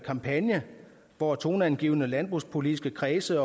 kampagne hvor toneangivende landbrugspolitiske kredse